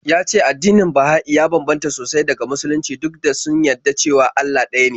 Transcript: Ya ce addinin Baha'i ya bambanta sosai daga Musulunci duk da de sun yadda cewa Allah ɗaya ne.